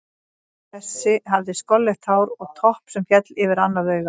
Þessi hafði skolleitt hár og topp sem féll yfir annað augað.